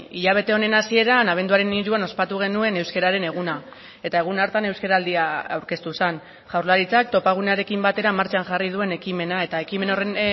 hilabete honen hasieran abenduaren hiruan ospatu genuen euskararen eguna eta egun hartan euskaraldia aurkeztu zen jaurlaritzak topagunearekin batera martxan jarri duen ekimena eta ekimen horren